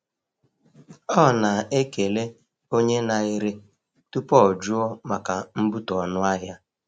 Ọ na-ekele onye na-ere tupu o jụọ maka mbutu ọnụ ahịa.